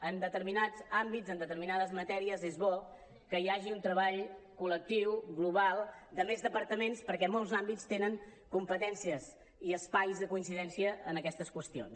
en determinats àmbits en determinades matèries és bo que hi hagi un treball col·lectiu global de més departaments perquè molts àmbits tenen competències i espais de coincidència en aquestes qüestions